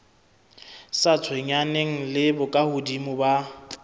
sa tshwenyaneng le bokahodimo ba